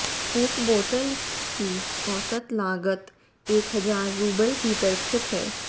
एक बोतल की औसत लागत एक हजार रूबल भीतर स्थित है